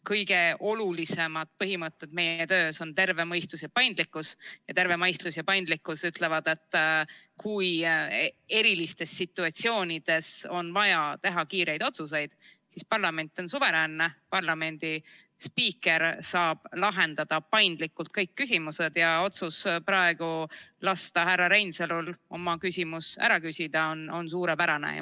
Kõige olulisemad põhimõtted meie töös on terve mõistus ja paindlikkus, ning terve mõistus ja paindlikkus ütlevad, et kui erilistes situatsioonides on vaja teha kiireid otsuseid, siis parlament on suveräänne, parlamendi spiiker saab lahendada paindlikult kõik küsimused, ja otsus praegu lasta härra Reinsalul oma küsimus ära küsida on suurepärane.